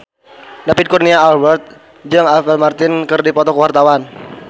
David Kurnia Albert jeung Apple Martin keur dipoto ku wartawan